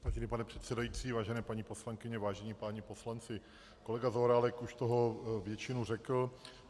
Vážený pane předsedající, vážené paní poslankyně, vážení páni poslanci, kolega Zaorálek už toho většinu řekl.